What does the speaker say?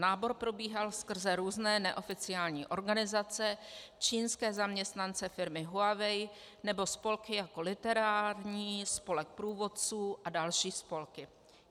Nábor probíhal skrze různé neoficiální organizace, čínské zaměstnance firmy Huawei nebo spolky jako literární, spolek průvodců a další spolky.